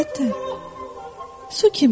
Əlbəttə, su kimi.